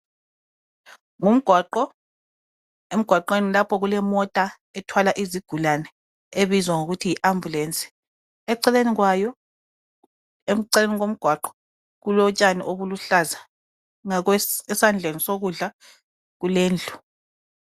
Ngumgwaqo, emgwaqweni lapho kulemota ethwala izigulane ebizwa ngokuthi yi ambulance. Eceleni kwayo, eceleni komgwaqo kulotshani obuluhlaza, ngakwesandleni sokudla kulendlu.